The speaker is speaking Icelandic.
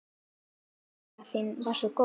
Nærvera þín var svo góð.